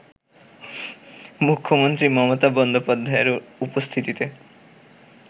মুখ্যমন্ত্রী মমতা বন্দ্যোপাধ্যায়ের উপস্থিতিতে